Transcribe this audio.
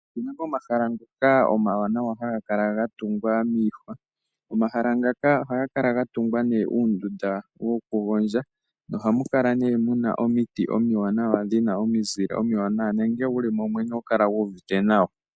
Opuna omahala ngoka omawanawa haga kala gatungwa miihwa. Omahala ngaka ohaga kala gatungwa uundunda woku gondja na ohamu kala muna omiti omiwanawa dhina omizile omiwanawa na ngele wuli mo oho kala wu uvite nawa.